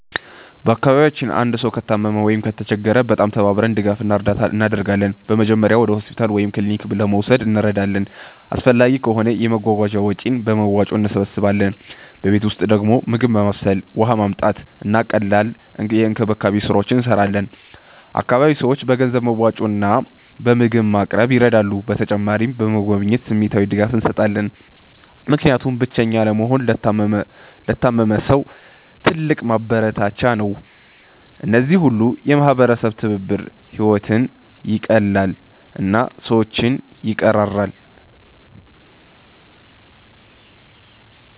በአካባቢያችን አንድ ሰው ከታመመ ወይም ከተቸገረ በጣም ተባብረን ድጋፍ እና እርዳታ እናደርጋለን። በመጀመሪያ ወደ ሆስፒታል ወይም ክሊኒክ ለመውሰድ እንረዳለን፣ አስፈላጊ ከሆነ የመጓጓዣ ወጪን በመዋጮ እንሰብስባለን። በቤት ውስጥ ደግሞ ምግብ ማብሰል፣ ውሃ ማመጣት፣ እና ቀላል የእንክብካቤ ስራዎች እንሰራለን። አካባቢ ሰዎች በገንዘብ መዋጮ እና በምግብ ማቅረብ ይረዳሉ። በተጨማሪም በመጎብኘት ስሜታዊ ድጋፍ እንሰጣለን፣ ምክንያቱም ብቸኛ አለመሆን ለታመመ ሰው ትልቅ ማበረታቻ ነው። እነዚህ ሁሉ የማህበረሰብ ትብብር ሕይወትን ይቀላል እና ሰዎችን ይቀራራል።